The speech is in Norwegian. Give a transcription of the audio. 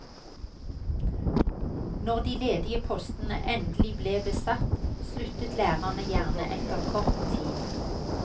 Når de ledige postene endelig ble besatt, sluttet lærerne gjerne etter kort tid.